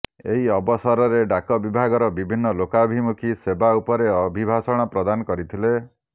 ଏହି ଅବସରରେ ଡାକ ବିଭାଗର ବିଭିନ୍ନ ଲୋକାଭିମୁଖୀ ସେବା ଉପରେ ଅଭିଭାଷଣ ପ୍ରଦାନ କରିଥିଲେ